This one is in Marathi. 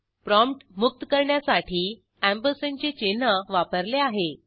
प्रॉम्प्ट मुक्त करण्यासाठी एएमपी अँपरसँडचे चिन्हवापरले आहे